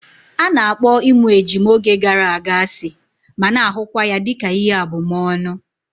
A na-akpọ ịmụ ejima oge gara aga asị ma na-ahụkwa ya dịka ihe abumọọnu